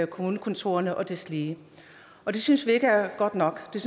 kommunekontorerne og deslige det synes vi ikke er godt nok det